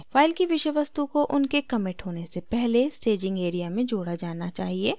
file की विषय वस्तु को उनके कमिट होने से पहले staging area में जोड़ा जाना चाहिए